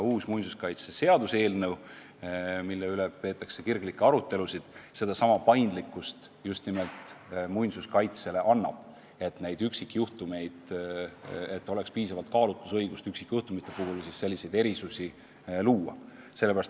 Uus muinsuskaitseseaduse eelnõu, mille üle peetakse kirglikke arutelusid, lisabki muinsuskaitsele paindlikkust juurde, andes võimaluse üksikjuhtumite korral piisavalt kaalutlusõigust rakendada ja erisusi luua.